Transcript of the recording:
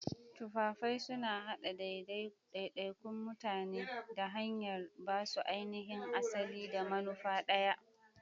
Tufafai suna haɗa daidaikun mutane ta hanyar ba su ainihin asali da manufa ɗaya.